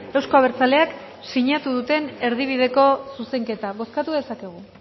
euzko abertzaleak sinatu duten erdibideko zuzenketa bozkatu dezakegu